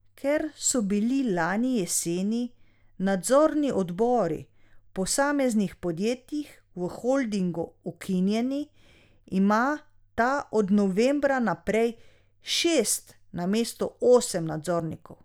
Ker so bili lani jeseni nadzorni odbori v posameznih podjetjih v holdingu ukinjeni, ima ta od novembra naprej šest namesto osem nadzornikov.